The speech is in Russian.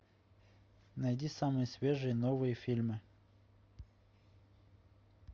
найди самые свежие новые фильмы